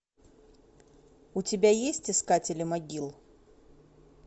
у тебя есть искатели могил